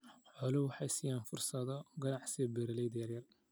Xooluhu waxay siiyaan fursado ganacsi beeralayda yaryar.